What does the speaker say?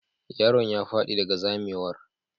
Yaron ya fadi daga zamewar.